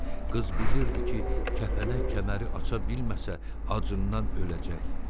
Qız bilirdi ki, kəpənək kəməri aça bilməsə, acından öləcək.